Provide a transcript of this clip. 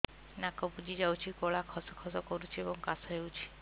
ନାକ ବୁଜି ଯାଉଛି ଗଳା ଖସ ଖସ କରୁଛି ଏବଂ କାଶ ହେଉଛି